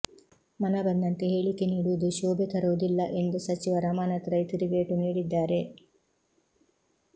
ಮನಬಂದಂತೆ ಹೇಳಿಕೆ ನೀಡುವುದು ಶೋಭೆ ತರುವುದಿಲ್ಲ ಎಂದು ಸಚಿವ ರಮಾನಾಥ್ ರೈ ತಿರುಗೇಟು ನೀಡಿದ್ದಾರೆ